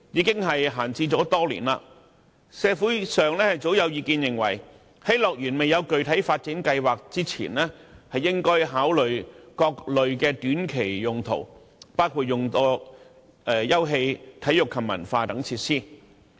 該幅土地已閒置多年，社會上早有意見認為，在樂園未有具體發展計劃前，政府應考慮各類的短期用途，包括用作休憩、體育及文化設施。